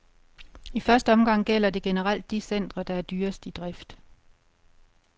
I første omgang gælder det generelt de centre, der er dyrest i drift.